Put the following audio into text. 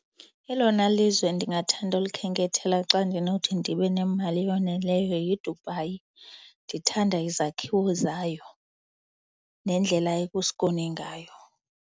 Elona lizwe ndingathanda ulikhenkethela xa ndinothi ndibe nemali eyoneleyo yiDubai. Ndithanda izakhiwo zayo nendlela eku-skoon ngayo.